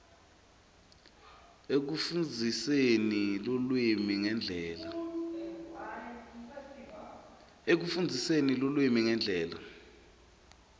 ekufundziseni lulwimi ngendlela